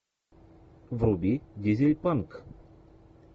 вруби дизельпанк